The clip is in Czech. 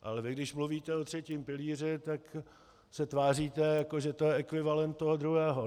Ale vy když mluvíte o třetím pilíři, tak se tváříte, jako že je to ekvivalent toho druhého.